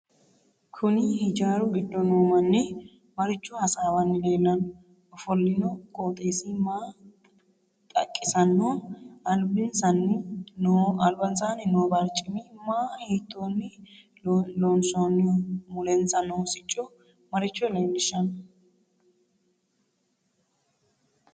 Kuni hijaaru giddo noo manni maricho hasaawani leellanno ofollinno qooxeesi maa xaqissanno albansaani noo barcimi maa hiitooni loonsooniho mulensa noo sicci maricho leelishanno